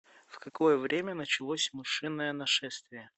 в какое время началось мышиное нашествие